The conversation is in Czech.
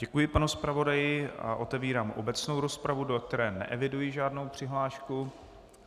Děkuji panu zpravodaji a otevírám obecnou rozpravu, do které neeviduji žádnou přihlášku.